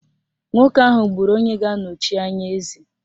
Nwoke ahụ gburu onye ga-anọchi anya eze